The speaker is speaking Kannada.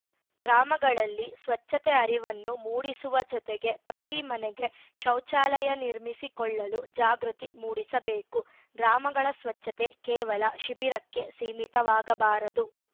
ಗ್ರಾಮಗಳಲ್ಲಿ ಸ್ವಚ್ಛತೆ ಅರಿವನ್ನು ಮೂಡಿಸುವ ಜೊತೆಗೆ ಪ್ರತಿ ಮನೆಗೆ ಶೌಚಾಲಯ ನಿರ್ಮಿಸಿಕೊಳ್ಳಲು ಜಾಗೃತಿ ಮೂಡಿಸಬೇಕು ಗ್ರಾಮಗಳ ಸ್ವಚ್ಛತೆ ಕೇವಲ ಶಿಬಿರಕ್ಕೆ ಸೀಮಿತವಾಗಬಾರದು